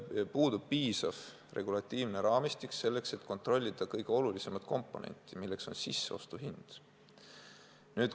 Meil puudub piisav regulatiivne raamistik, et kontrollida kõige olulisemat komponenti, milleks on sisseostuhind.